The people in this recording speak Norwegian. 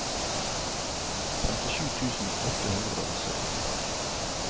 femtisju tusen åtte hundre og syttitre